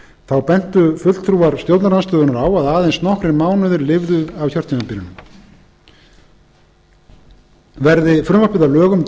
þá bentu fulltrúar stjórnarandstöðunnar á að aðeins nokkrir mánuðir lifðu af kjörtímabilinu verði frumvarpið að lögum